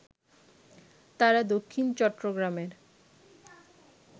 তারা দক্ষিণ চট্টগ্রামের